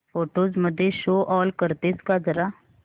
photos मध्ये show all करतेस का जरा